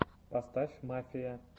поставь мафия